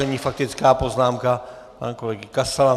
Nyní faktická poznámka pana kolegy Kasala.